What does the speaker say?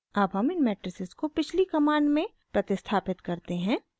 अब हम इन मेट्राइसिस को पिछली कमांड में प्रतिस्थापित करते हैं